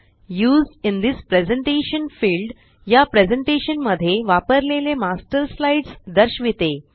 used in this presentation field या presentation मध्ये वापरलेले मास्टर स्लाइड्स दर्शविते